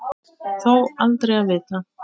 Þó aldrei að vita.